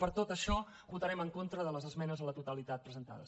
per tot això votarem en contra de les esmenes a la totalitat presentades